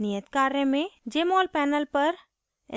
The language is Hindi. नियत कार्य में: jmol panel पर